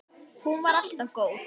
Hún var alltaf góð.